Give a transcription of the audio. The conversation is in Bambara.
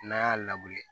N'an y'a